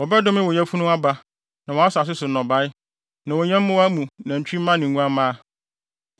Wɔbɛdome wo yafunu aba, ne wʼasase so nnɔbae. Ne wo nyɛmmoa mu nantwimma ne nguamma.